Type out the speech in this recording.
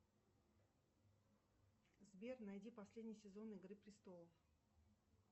сбер найди последний сезон игры престолов